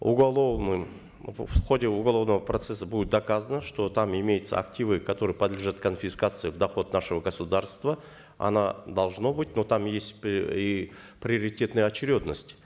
уголовным в ходе уголовного процесса будет доказано что там имеются активы которые подлежат конфискации в доход нашего государства оно должно быть но там есть и приоритетная очередность